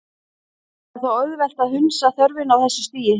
Það er þó auðvelt að hunsa þörfina á þessu stigi.